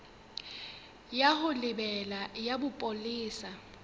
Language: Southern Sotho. ya ho lebela ya bopolesa